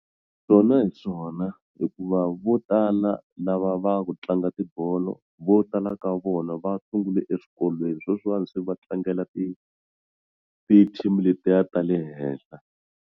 Swona hi swona hikuva vo tala lava va ku tlanga tibolo vo tala ka vona va sungule eswikolweni sweswiwani swi va tlangela ti team letiya ta le henhla.